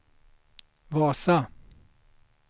Vasa